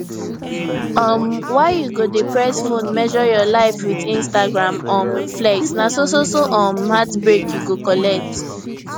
um why you go dey press phone measure your life with instagram um flex na so so so um heartbreak you go collect